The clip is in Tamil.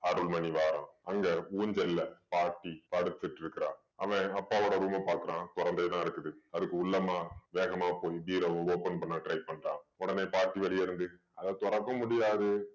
அருள்மணி வாரான் அங்க ஊஞ்சல்ல பாட்டி படுத்துட்டு இருக்கா அவன் அப்பாவோட room அ பாக்குறான் தொறந்தேதான் இருக்குது அதுக்கு உள்ளமா வேகமா போய் பீரோவ open பண்ண try பண்றான் உடனே பாட்டி வெளிய இருந்து அத திறக்க முடியாது